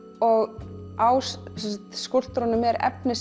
á skúlptúrunum er efni